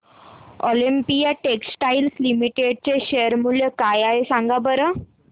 Olympia textiles limited चे share मूल्य काय आहे सांगा बरं